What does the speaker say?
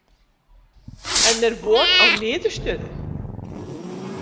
En er von á niðurstöðu?